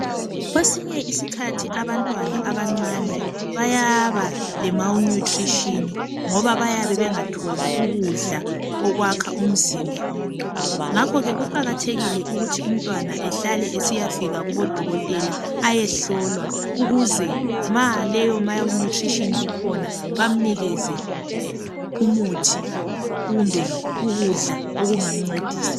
Kwesinye isikhathi abantwana abancane bayaba le malnutrition. Ngoba bayabe bengatholi ukudla okwakha umzimba .Ngakho ke kuqakathekile ukuthi umntwana ehlale esiyafika kubodokotela ayehlolwa ukuze ma leyo malnutrition ikhona bamnikeze umuthi kumbe ukudla okungamncedisa .